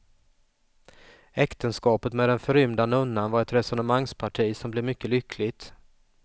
Äktenskapet med den förrymda nunnan var ett resonemangsparti som blev mycket lyckligt.